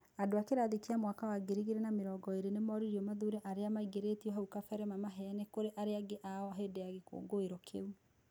Andũ a kĩrathi kĩa mwaka wa 2020 nĩ moririo mathure arĩa maingĩrĩtio hau kabere mamaheane kũri arĩa angĩ ao hĩndĩ ya gĩkũngũiro kiu.